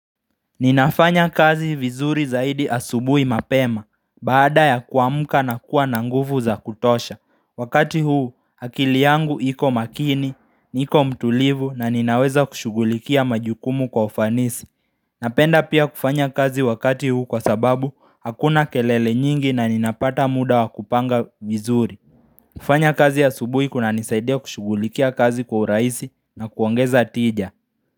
Ninafanya kazi vizuri zaidi asubui mapema, baada ya kuamka na kuwa nanguvu za kutosha, wakati huu akili yangu iko makini, niko mtulivu na ninaweza kushugulikia majukumu kwa ufanisi Napenda pia kufanya kazi wakati huu kwa sababu hakuna kelele nyingi na ninapata muda wa kupanga vizuri kufanya kazi asubui kuna nisaidia kushugulikia kazi kwa uraisi na kuongeza tija.